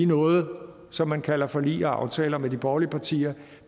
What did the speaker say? noget som man kalder forlig og aftaler med de borgerlige partier